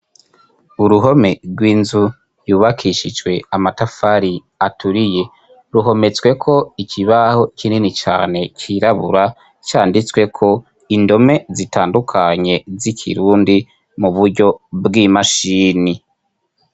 Uruhome rw'inzu yubakishijwe amatafari aturiye ruhometsweko ikibaho kinini cane cirabura canditsweko indome zitandukanye z'ikirundi mu buryo bw'imashini.